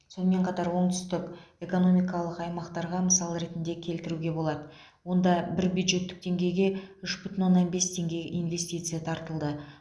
сонымен қатар оңтүстік экономикалық аймақтарға мысал ретінде келтіруге болады онда бір бюджеттік теңгеге үш бүтін оннан бес теңге инвестиция тартылды